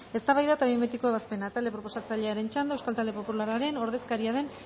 eztabaida eta behin betiko ebazpena talde proposatzailearen txanda euskal talde popularraren ordezkaria den